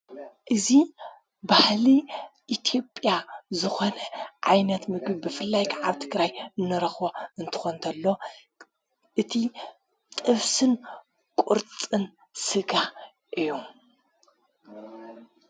እዙ ባህሊ ኢትኦጴያ ዝኾነ ዓይነት ምግድ ብፍላይ ዓብቲ ግራይ እንረኽ እንተኾ እንተሎ እቲ ጥፍስን ቊርጽን ሥጋ እዩ።